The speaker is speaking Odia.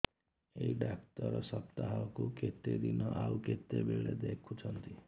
ଏଇ ଡ଼ାକ୍ତର ସପ୍ତାହକୁ କେତେଦିନ ଆଉ କେତେବେଳେ ଦେଖୁଛନ୍ତି